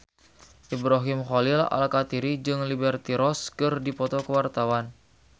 Ibrahim Khalil Alkatiri jeung Liberty Ross keur dipoto ku wartawan